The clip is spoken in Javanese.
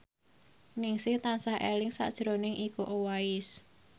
Ningsih tansah eling sakjroning Iko Uwais